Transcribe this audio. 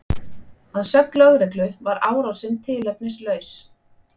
Að sögn lögreglu var árásin tilefnislaus